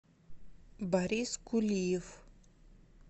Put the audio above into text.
борис кулиев